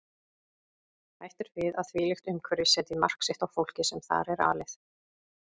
Hætt er við að þvílíkt umhverfi setji mark sitt á fólkið sem þar er alið.